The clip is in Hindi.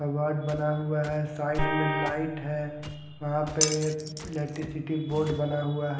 वार्ड बना हुआ हैं साइड में लाइट हैं वहाँ पे इलेक्ट्रिसिटी बोर्ड बना हुआ ह--